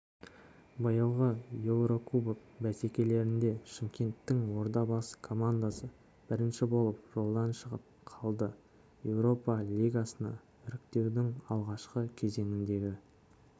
биылғы еурокубок бәсекелерінде шымкенттің ордабасы командасы бірінші болып жолдан шығып қалды еуропа лигасына іріктеудің алғашқы кезеңіндегі